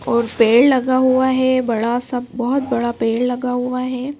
और पेड़ लगा हुआ हैं बड़ा सा बहोत बड़ा पेड़ लगा हुआ हैं।